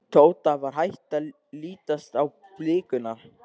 Tóta var hætt að lítast á blikuna.